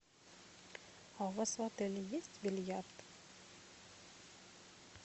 а у вас в отеле есть бильярд